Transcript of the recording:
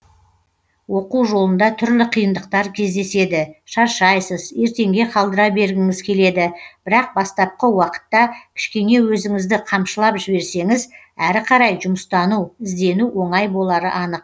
оқу жолында түрлі қиындықтар кездеседі шаршайсыз ертеңге қалдыра бергіңіз келеді бірақ бастапқы уақытта кішкене өзіңізді қамшылап жіберсеңіз әрі қарай жұмыстану іздену оңай болары анық